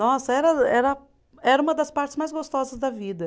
Nossa, era era, era uma das partes mais gostosas da vida.